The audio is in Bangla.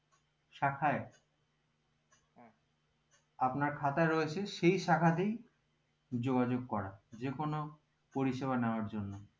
শাখায় খাতা রয়েছে সেই শাখাতেই যোগাযোগ করা যে কোনো পরিসেবা নেওয়ার জন্য